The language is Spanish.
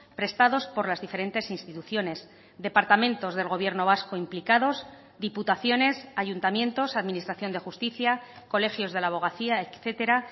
prestados por las diferentes instituciones departamentos del gobierno vasco implicados diputaciones ayuntamientos administración de justicia colegios de la abogacía etcétera